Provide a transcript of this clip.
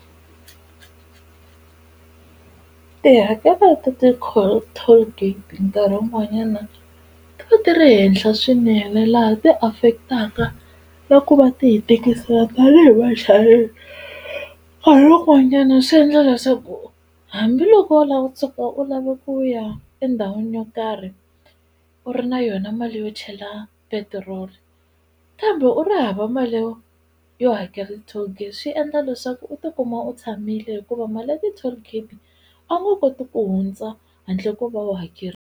Tihakelo ta ti-cold tollgate nkarhi wun'wanyana ti va ti ri henhla swinene laha ti affect-aka na ku va ti hi tikisela tanihi vachayeri nkarhi wun'wanyana swi endla leswaku hambiloko u lava u tshuka u lave ku ya endhawini yo karhi u ri na yona mali yo chela petiroli kambe u ri hava mali yo yo hakela ti-tollgate swi endla leswaku u tikuma u tshamile hikuva mali ya ti-tollgate a wu nga koti ku hundza handle ko va u .